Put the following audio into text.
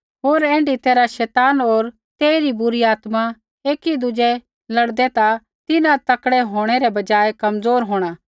होर ऐण्ढा तैरहा शैतान होर तेइरी बुरी आत्मा एकी दुज़ै लड़दै ता तिन्हां तकड़ै होंणै रै बजायै कमज़ोर होंणा